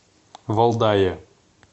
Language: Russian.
валдае